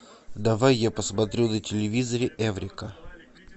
давай я посмотрю на телевизоре эврика